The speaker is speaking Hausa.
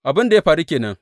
Abin da faru ke nan.